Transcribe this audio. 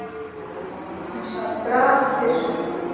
Hún sat grafkyrr.